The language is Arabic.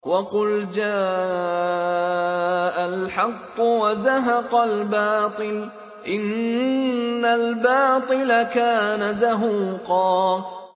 وَقُلْ جَاءَ الْحَقُّ وَزَهَقَ الْبَاطِلُ ۚ إِنَّ الْبَاطِلَ كَانَ زَهُوقًا